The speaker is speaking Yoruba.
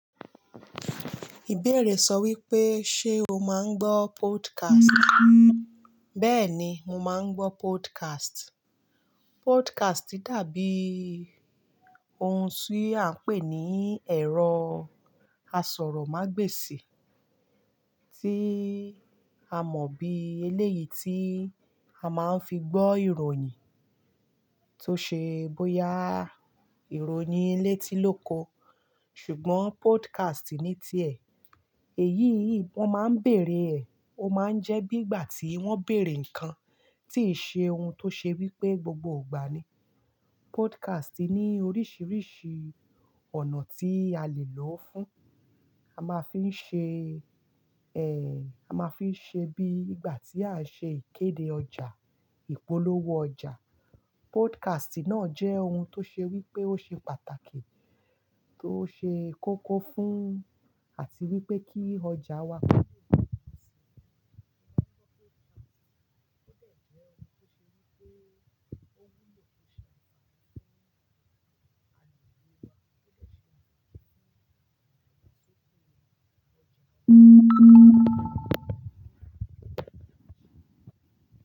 Ìbéèrè sọ wípé, ṣé o máa ń gbọ́ podcast? Bẹ́ẹ̀ ni, mo máa ń gbọ́ podcast. Podcast dàbí ohun tí à n pè ní ẹ̀rọ asọ̀rọ̀mágbèsì tí a mọ̀ bí eléyìí tí a máa ń fi gbọ́ ìròyìn tó ṣe bóyá ìròyìn létí lóko. Ṣùgbọ́n podcast ní ti ẹ̀. Èyí ì wón máa ń bèèrè ẹ̀, ó máa ń jẹ bí bìgbà tí wón bèèrè ǹkan tí ṣe ohun tó ṣe wípé gbogbo ìgbà ni. Podcast ní oríṣiríṣi ọ̀nà tí a le lò ó fún, a máa fi ń ṣe, ẹ́, a máa fi ń ṣe bí ìgbà tí à ń ṣe ìkéde ọjà, ìpolówó ọjà. Podcast náà jẹ́ ohun tó ṣe wípé ó ṣe pàtàkì tó ṣe kókó fún àti wípé kí ọjà wá.